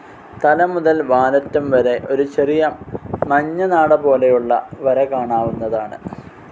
തലമുതൽ വാലറ്റം വരെ ഒരു ചെറിയ മഞ്ഞനാട പോലെയുള്ള വര കാണാവുന്നതാണ്.